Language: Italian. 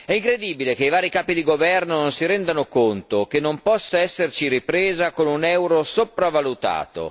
È incredibile che i vari capi di governo non si rendano conto che non può esserci ripresa con un euro sopravvalutato.